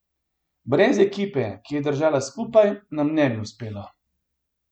Brez ekipe, ki je držala skupaj, nam ne bi uspelo.